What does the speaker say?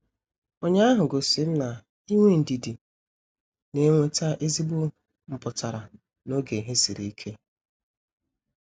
Ụnyaahụ gosirim na-inwe ndidi na-enweta ezigbo mputara n'oge ihe sịrị ike.